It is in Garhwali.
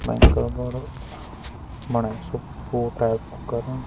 भेंकर बडू बणयूं सब पोटा कु करण।